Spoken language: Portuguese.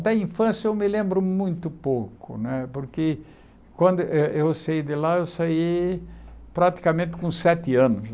Olha, da infância eu me lembro muito pouco né, porque quando eh eu saí de lá, eu saí praticamente com sete anos.